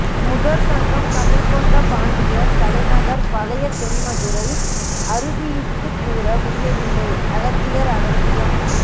முதற் சங்கம் கடல் கொண்ட பாண்டியர் தலைநகர் பழைய தென்மதுரை அறுதியிட்டுக் கூற முடியவில்லை அகத்தியர் அகத்தியம்